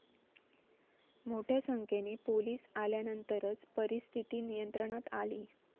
मोठ्यासंख्येने police आल्यानंतरच परिस्थिती नियंत्रणात आली.